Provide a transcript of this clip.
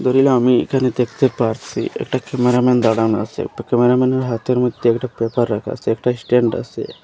আমি এখানে দেখতে পারসি একটা ক্যামেরাম্যান দাঁড়ানো আসে একটা ক্যামেরাম্যানের হাতের মধ্যে একটা পেপার রাখা আসে একটা স্ট্যান্ড আসে।